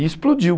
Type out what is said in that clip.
E explodiu.